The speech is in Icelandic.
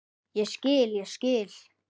Ég skil, ég skil.